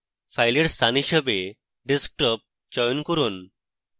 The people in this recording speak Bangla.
file স্থান হিসাবে desktop চয়ন করুন